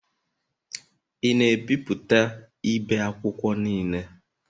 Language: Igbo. Ị na-ebipụta ibe akwụkwọ niile?